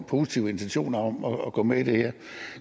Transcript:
positive intentioner om at gå med i det her